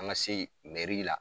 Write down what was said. An ka se meri la